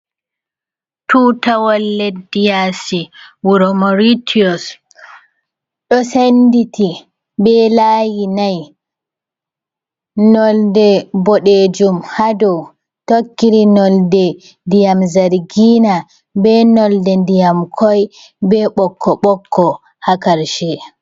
Tuutawal leddi yaasi, wuro Maritios, ɗo senditi bee laayi nay, nonnde boɗeejum haa dow, tokkiri nonnde ndiyam zargiina bee nolde ndiyam koy, bee ɓokko-ɓokko haa karshe.